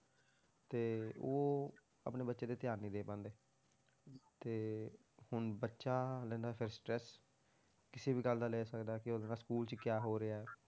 ਤੇ ਉਹ ਆਪਣੇ ਬੱਚੇ ਤੇ ਧਿਆਨ ਨਹੀਂ ਦੇ ਪਾਉਂਦੇ, ਤੇ ਹੁਣ ਬੱਚਾ ਲੈਂਦਾ ਫਿਰ stress ਕਿਸੇ ਵੀ ਗੱਲ ਦਾ ਲੈ ਸਕਦਾ ਕਿ ਉਹਦੇ ਨਾਲ school 'ਚ ਕਿਆ ਹੋ ਰਿਹਾ ਹੈ,